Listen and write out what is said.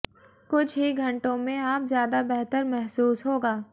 कुछ ही घंटों में आप ज्यादा बेहतर महसूस होगा